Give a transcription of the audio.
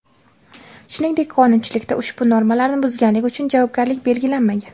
Shuningdek, qonunchilikda ushbu normalarni buzganlik uchun javobgarlik belgilanmagan.